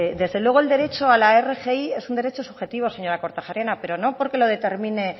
desde luego el derecho a la rgi es un derecho subjetivo señora kortajarena pero no porque lo determine